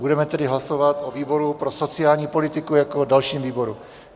Budeme tedy hlasovat o výboru pro sociální politiku jako dalším výboru.